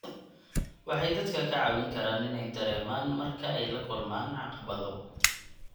Waxay dadka ka caawin karaan inay dareemaan marka ay la kulmaan caqabado.